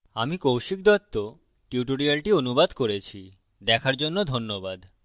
আমি কৌশিক দত্ত tutorials অনুবাদ করেছি দেখার জন্য ধন্যবাদ